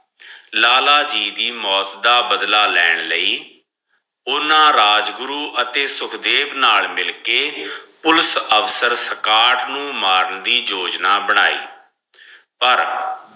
ਲਾਲਾ ਜੀ ਦੀ ਮੋਤ ਦਾ ਬਦਲਾ ਲੈਣ ਲਈ ਓਨਾ ਰਾਜਗੁਰੂ ਅਤੇ ਸੁਖਦੇਵ ਨਾਲ ਮਿਲ ਕੇ ਪੁਲਸ ਅਫਸਰ ਸਕਾਟ ਨੂ ਮਾਰਨ ਦੀ ਯੋਜਨਾ ਬਣਾਇ ਪਰ